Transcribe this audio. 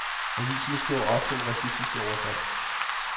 Aviserne skriver ofte om racistiske overfald.